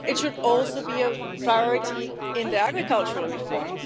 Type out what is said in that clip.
It should also be a priority in the agricultural reform.